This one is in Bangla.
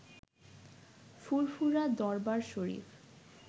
ফুরফুরা দরবার শরীফ